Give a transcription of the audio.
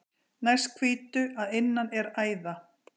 Næst hvítu að innan er æða.